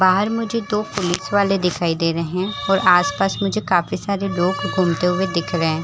बाहर मुझे दो पुलिस वाले दिखाई दे रहे हैं और आसपास मुझे काफी सारे लोग घूमते हुए दिख रहे हैं।